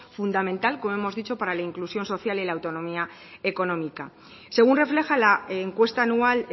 fundamental como hemos dicho para la inclusión social y la autonomía económica según refleja la encuesta anual